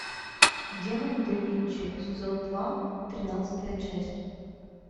демон да винчи сезон два тринадцатая часть